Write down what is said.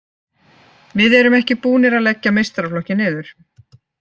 Við erum ekki búnir að leggja meistaraflokkinn niður.